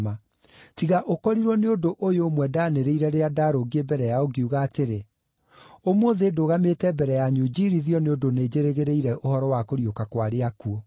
tiga ũkorirwo nĩ ũndũ ũyũ ũmwe ndanĩrĩire rĩrĩa ndaarũngiĩ mbere yao ngiuga atĩrĩ: ‘Ũmũthĩ ndũgamĩte mbere yanyu njiirithio nĩ ũndũ nĩnjĩrĩgĩrĩire ũhoro wa kũriũka kwa arĩa akuũ.’ ”